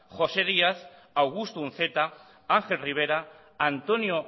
josé díaz augusto unceta ángel rivera antonio